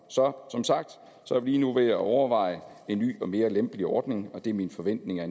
så som sagt er vi nu ved at overveje en ny og mere lempelig ordning og det er min forventning at